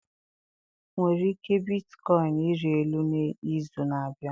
nwere ike bitcoin ịrị elu n'izu na-abịa?